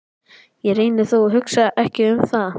Ég reyni þó að hugsa ekki um það.